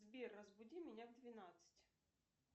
сбер разбуди меня в двенадцать